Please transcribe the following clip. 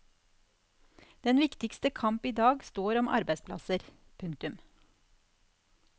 Den viktigste kamp idag står om arbeidsplasser. punktum